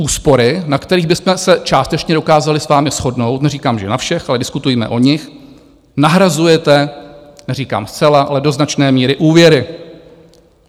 Úspory, na kterých bychom se částečně dokázali s vámi shodnout, neříkám, že na všech, ale diskutujme o nich, nahrazujete - neříkám zcela, ale do značné míry - úvěry.